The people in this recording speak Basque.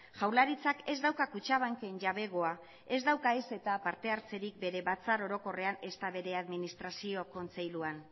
jaurlaritzak ez dauka kutxabanken jabegoa ez dauka ez eta parte hartzerik bere batzar orokorrean ezta bere administrazio kontseiluan